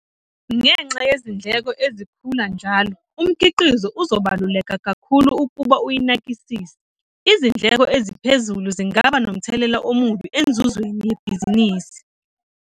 Ngenxa yezindleko ezikhula njalo umkhiqizo uzobaluleka kakhulu ukuba uyinakisise. Izindleko eziphezulu zingaba nomthelela omubi enzuzweni yebhizinisi.